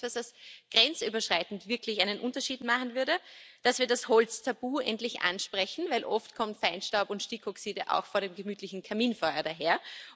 Das ist auch etwas, das grenzüberschreitend wirklich einen Unterschied machen würde, und dass wir das Holztabu endlich ansprechen, denn oft kommen Feinstaub und Stickoxide auch vor dem gemütlichen Kaminfeuer daher.